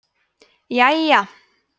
jæja